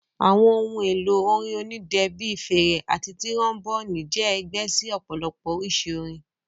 Àwọn ohun èlò orin onídẹ bíi fèrè àti tíróḿbònì jẹ́ ẹgbẹ́ sí ọ̀pọ̀lọpọ̀ oríṣi orin